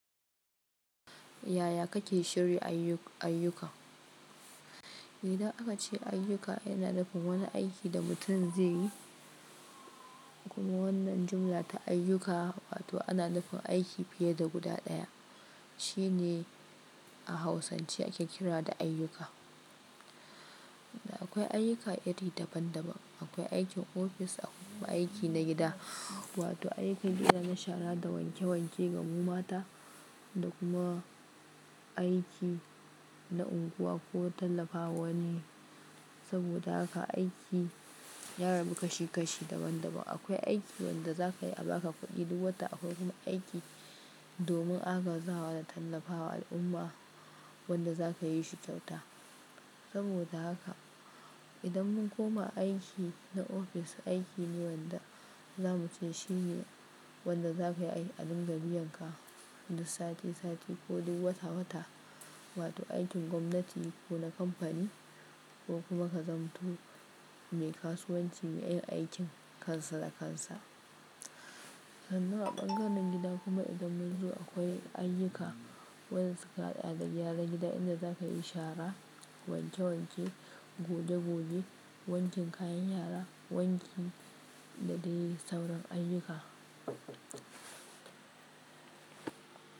Yaya kake shirya ayyuka? Idan aka ce ayyuka yana nufin wani aiki da mutum zai yi, kuma wannan jumla ta ayyuka wato ana nufin aiki fiye da guda ɗaya, shine a hausance ake kira da ayyuka. Akwai ayyuka iri daban daban, akwai aikin ofis akwai kuma aiki na gida, wato aikin gida na shara da wanke wanke ga mu mata da kuma aiki na unguwa ko tallafawa wani. Saboda haka aiki ya rabu kashi kashi daban daban. Akwai aiki wanda za ka yi a ba ka kuɗi duk wata, akwai kuma aiki domin aga zawa da tallafawa al'umma wanda za ka yi shi kyauta. Saboda haka idan mun koma aiki na ofis, aiki ne wanda za mu shine wanda za ka yi a dingabi yan ka, duk sati sati ko duk wata wata, wato aikin gwamnati ko na kamfani ko kuma ka zamto mai kasuwanci mai yin aikin kansa da kansa. Sannan a ɓangaren gida kuma idan mun zo akwai ayyuka wanda suka haɗa da gyara gida, inda za ka yi shara, wanke wanke, goge goge, wankin kayan yara, wanki da dai sauran ayyuka.